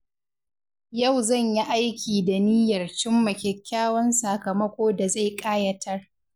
Yau zan yi aiki da niyyar cimma kyakkyawan sakamako da zai ƙayatar.